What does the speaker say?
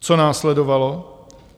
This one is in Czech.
Co následovalo?